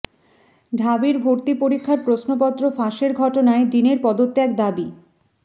ঢাবির ভর্তি পরীক্ষার প্রশ্নপত্র ফাঁসের ঘটনায় ডিনের পদত্যাগ দাবি